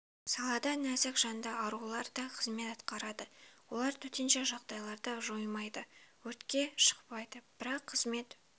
салада нәзік жанды арулар да қызмет атқарады олар төтенше жағдайларды жоймайды өртке шықпайды бірақ қызмет